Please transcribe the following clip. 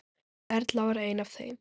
Erla var ein af þeim.